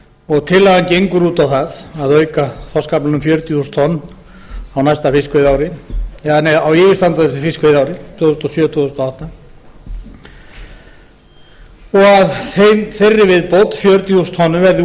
og tillagan gengur út á það að auka þorskaflann um fjörutíu þúsund tonn á yfirstandandi fiskveiðiári tvö þúsund og sjö til tvö þúsund og átta og að þeirri viðbót fjörutíu þúsund tonnum verði